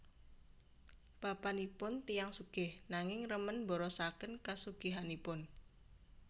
Bapanipun tiyang sugih nanging remen mborosaken kasugihanipun